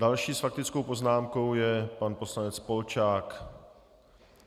Další s faktickou poznámkou je pan poslanec Polčák.